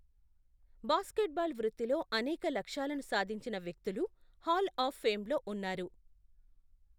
Basketball వృత్తిలో అనేక లక్ష్యాలను సాధించిన వ్యక్తులు హాల్ ఆఫ్ ఫేమ్లో ఉన్నారు.